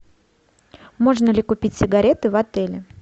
можно ли купить сигареты в отеле